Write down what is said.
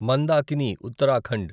Mandakini Uttarakhand